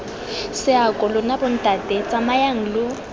seako lona bontate tsamayang lo